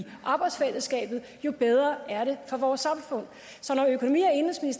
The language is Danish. arbejdsfællesskabet jo bedre er det for vores samfund